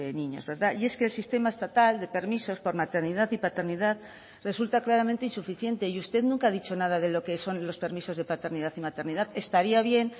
niños verdad y es que el sistema estatal de permisos por maternidad y paternidad resulta claramente insuficiente y usted nunca ha dicho nada de lo que son los permisos de paternidad y maternidad estaría bien